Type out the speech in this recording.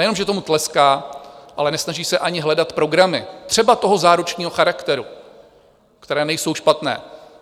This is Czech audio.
Nejenom že tomu tleská, ale nesnaží se ani hledat programy, třeba toho záručního charakteru, které nejsou špatné.